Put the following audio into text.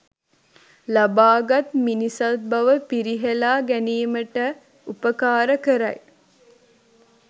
ලබාගත් මිනිසත්බව පිරිහෙළා ගැනීමට උපකාර කරයි.